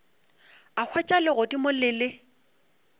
a hwetša legodimo le le